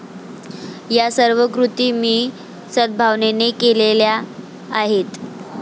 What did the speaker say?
या सर्व कृती मी सदभावनेने केलेल्या आहेत.